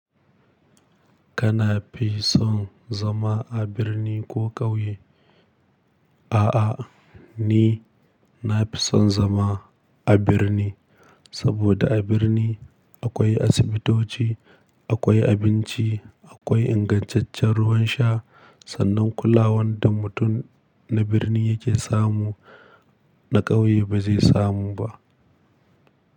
Kana fi son zama a birni ko ƙauye? A'a, ni nafi son zama a birni, saboda a birni akwai asibitoci, akwai abinci, akwai ingantaccen ruwan sha. Sannan kulawan da mutum na birni yake samu, na ƙauye ba zai samu ba.